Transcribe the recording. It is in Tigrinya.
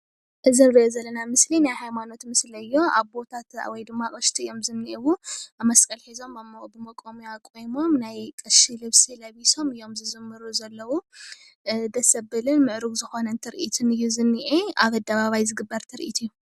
እዚ ንሪኦ ዘለና ምስሊ ናይ ሃይማኖትና ምስሊ እዩ። ኣቦታትና ወይ ድማ ኣቅሽቲ እዮም ዝኒአውዎ መስቀል ሒዞም ኣብ ሞቆምያ ቆይሞም ናይ ቀሺ ልብሲ ለቢሶም እዮም ዝዝምሩ ዘለዉ ደስ ዘብልን ምዕርጉን ትሪኢት እዩ ዘኒአ ኣብ ኣደባባይ ዝግበር ትርኢት እዩ፡፡